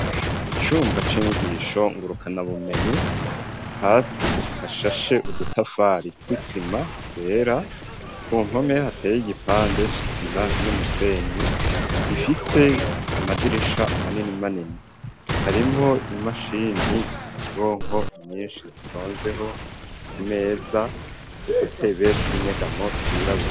icumba c'inyigisho ngurukana bumenyi hasi hashashe udutafari tw'isima twera ku mpome hateye igipande c'isima n'umusenyi gifise amadirisha manini manini harimwo imashini nyabwonko nyinshi zitonzeho ku meza n'udutebe tw'inyegamo twirabura.